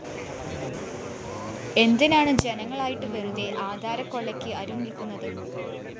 എന്തിനാണു ജനങ്ങളായിട്ട് വെറുതെ ആധാരക്കൊള്ളയ്ക്ക് അരു നില്‍ക്കുന്നത്